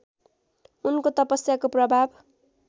उनको तपस्याको प्रभाव